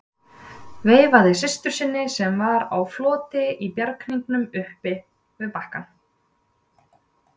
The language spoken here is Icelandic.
Veifaði systur sinni sem var á floti í bjarghringnum upp við bakkann.